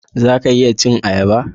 Zan iya cin ayaba.